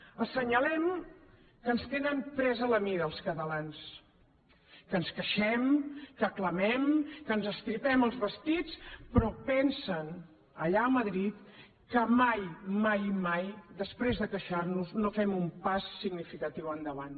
assenyalem que ens tenen presa la mida als catalans que ens queixem que clamem que ens estripem els vestits però pensen allà a madrid que mai mai mai després de queixar nos no fem un pas significatiu endavant